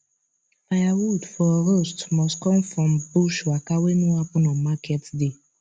firewood for roast must come from bush waka wey no happen on market day